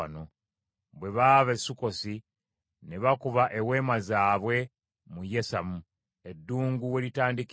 Bwe baava e Sukkosi ne bakuba eweema zaabwe mu Yesamu eddungu we litandikira.